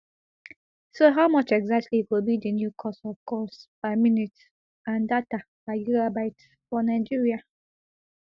so how much exactly go be di new cost of calls per minute and data per gigabyte for nigeria